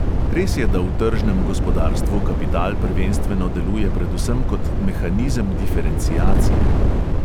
Res je, da v tržnem gospodarstvu kapital prvenstveno deluje predvsem kot mehanizem diferenciacije.